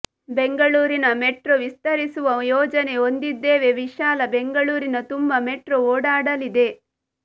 ಬೆಂಗಳೂರಿನ ಮೆಟ್ರೋ ವಿಸ್ತರಿಸುವ ಯೋಜನೆ ಹೊಂದಿದ್ದೇವೆ ವಿಶಾಲ ಬೆಂಗಳೂರಿನ ತುಂಬ ಮೆಟ್ರೋ ಓಡಾಡಲಿದೆ